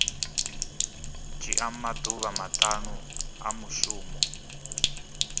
dzhia maḓuvha maṱanu a mushumo